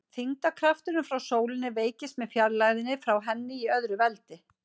Þyngdarkrafturinn frá sólinni veikist með fjarlægðinni frá henni í öðru veldi.